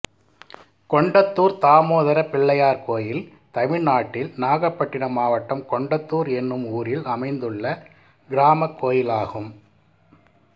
கொண்டத்தூர் தாமோதர பிள்ளையார் கோயில் தமிழ்நாட்டில் நாகபட்டினம் மாவட்டம் கொண்டத்தூர் என்னும் ஊரில் அமைந்துள்ள கிராமக் கோயிலாகும்